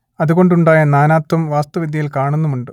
അതുകൊണ്ടുണ്ടായ നാനാത്വം വാസ്തുവിദ്യയിൽ കാണുന്നുമുണ്ട്